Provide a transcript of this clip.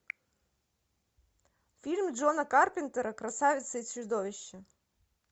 фильм джона карпентера красавица и чудовище